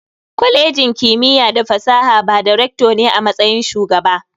Kwalejin kimiyya da fasaha ba da "Recto" ne a matsayin Shugaba.